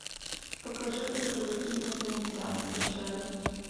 покажи как казаки инопланетян встречали